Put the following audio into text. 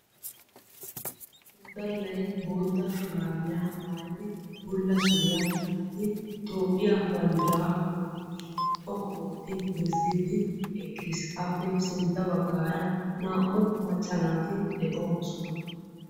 Woddallay bootta shuraabiyaa maayidi bulla suriyaa gixiddi Toophphiya banddiraa naa''u kushshiyaan xoqqu ootti bessiddi eqqis. Appe siintta baggara naa''u macca naati de'oosona.